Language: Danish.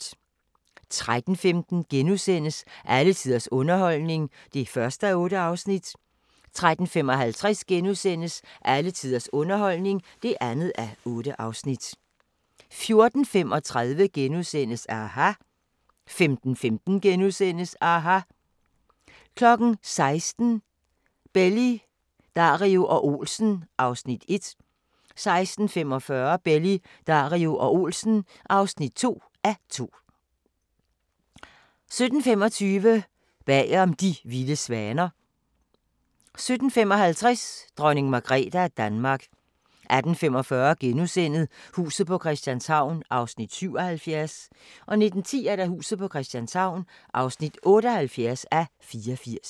13:15: Alle tiders underholdning (1:8)* 13:55: Alle tiders underholdning (2:8)* 14:35: aHA! * 15:15: aHA! * 16:00: Belli, Dario og Olsen (1:2) 16:45: Belli, Dario og Olsen (2:2) 17:25: Bagom De vilde svaner 17:55: Dronning Margrethe af Danmark 18:45: Huset på Christianshavn (77:84)* 19:10: Huset på Christianshavn (78:84)